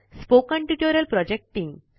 spoken tutorial project team